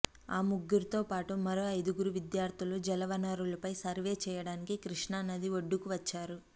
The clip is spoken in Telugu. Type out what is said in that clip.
ఆ ముగ్గురితో పాటు మరో ఐదుగురు విద్యార్తులు జలవనరులపై సర్వే చేయడానికి కృష్ణా నది ఒడ్డుకు వచ్చారు